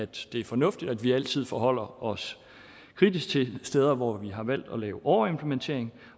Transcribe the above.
det er fornuftigt at vi altid forholder os kritisk til de steder hvor vi har valgt at lave overimplementering